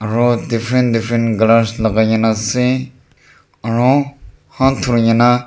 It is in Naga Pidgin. aru different different colours lagai na ase aru haat dhurina.